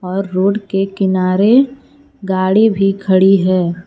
और रोड के किनारे गाड़ी भी खड़ी है।